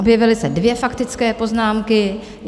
Objevily se dvě faktické poznámky.